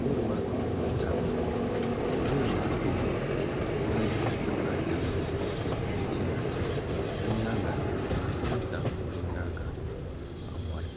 loori maa kama nyɛla zaɣ' piɛlli loori maa tooni gbuɣindi nti pahi jangbuni n-ʒeya bɛ nyaaga tihi n-sa sa bɛ nyaaga nti pahi mɔri.